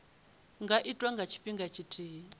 nga itwa nga tshifhinga tshithihi